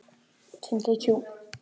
Þú hefur svikið besta vin þinn.